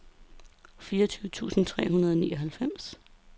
fireogtyve tusind tre hundrede og nioghalvtreds